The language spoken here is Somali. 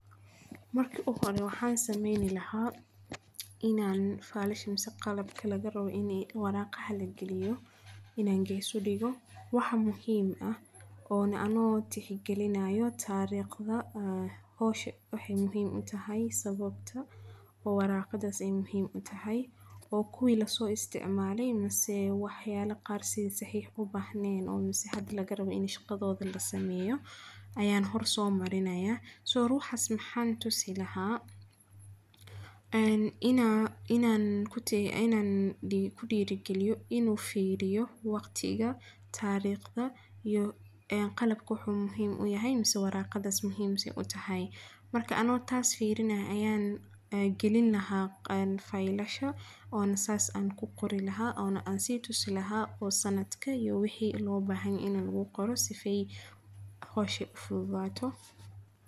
Waxa marka uhore sameyni inii falasha warqada lugurido an yes udigo oo ano tixgalinayo tariqda iyo waxa ey warqada muhiim utahay mise waxyslo qaar oo tsriq ubahnen aya hoor somarini laha in an kudiro galiyo inu firiyo tariqda iy wexey muhiim utahay marka anigo taas tixfalinayo aya soda uqori laha oo sanadka iyo wixi lobahanyahy.